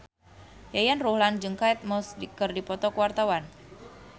Yayan Ruhlan jeung Kate Moss keur dipoto ku wartawan